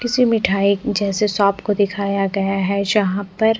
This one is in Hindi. किसी मिठाई जैसे शॉप को दिखया गया है जहा पर --